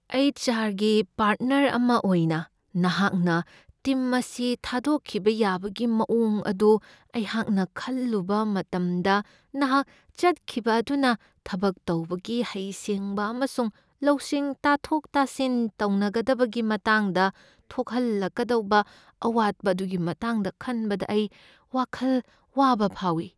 H. R. ꯒꯤ partner ꯑꯃ ꯑꯣꯏꯅ, ꯅꯍꯥꯛꯅ ꯇꯤꯝ ꯑꯁꯤ ꯊꯥꯗꯣꯛꯈꯤꯕ ꯌꯥꯕꯒꯤ ꯃꯑꯣꯡ ꯑꯗꯨ ꯑꯩꯍꯥꯛꯅ ꯈꯜꯂꯨꯕ ꯃꯇꯝꯗ, ꯅꯍꯥꯛ ꯆꯠꯈꯤꯕ ꯑꯗꯨꯅ ꯊꯕꯛ ꯇꯧꯕꯒꯤ ꯍꯩꯁꯤꯡꯕ ꯑꯃꯁꯨꯡ ꯂꯧꯁꯤꯡ ꯇꯥꯊꯣꯛ ꯇꯥꯁꯤꯟ ꯇꯧꯅꯒꯗꯕꯒꯤ ꯃꯇꯥꯡꯗ ꯊꯣꯛꯍꯜꯂꯛꯀꯗꯧꯕ ꯑꯋꯥꯠꯄ ꯑꯗꯨꯒꯤ ꯃꯇꯥꯡꯗ ꯈꯟꯕꯗ ꯑꯩ ꯋꯥꯈꯜ ꯋꯥꯕ ꯐꯥꯎꯏ꯫